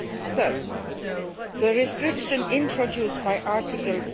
text. Thirdly, the restrictions introduced by Article